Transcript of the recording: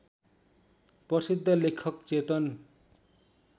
प्रसिद्ध लेखक चेतन